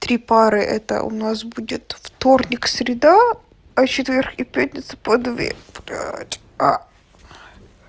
три пары это у нас будет вторник среда а четверг и пятница по две блять